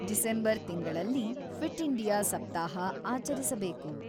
December ತಿಂಗಳಲ್ಲಿ fit India ಸಪ್ತಾಹ ಆಚರಿಸಬೇಕು.